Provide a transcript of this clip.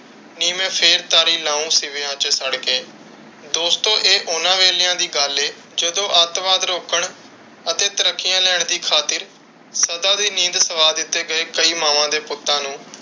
ਨੀ ਮੈਂ ਫਿਰ ਤਾਰੀ ਸਿਵਿਆਂ ਚ ਸੜ ਕੇ। ਦੋਸਤੋ ਇਹ ਉਨ੍ਹਾਂ ਵੇਹਲਿਆਂ ਦੀ ਗੱਲ ਹੈ, ਜਦੋ ਅੱਤਵਾਦ ਰੋਕਣ ਅਤੇ ਤੱਰਕੀਆਂ ਲੋਣ ਦੀ ਖਾਤਿਰ ਸਦਾ ਦੀ ਨੀਂਦ ਸਵਾ ਦਿੱਤੇ ਗਏ ਕਈ ਮਾਵਾਂ ਦੇ ਪੁੱਤਾਂ ਨੂੰ,